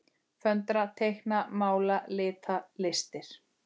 Föndra- teikna- mála- lita- listir